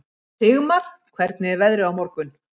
Sigmar, hvernig er veðrið á morgun?